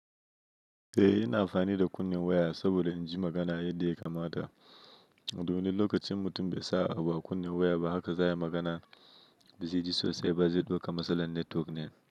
Eh, ina amfani da kunne waya saboda in ji magana yadda ya kamata. Domin lokacin mutum bai sa abu a kunne waya ba haka za ya magana, ba zai ji sosai ba, zai dauka matsalar network ne.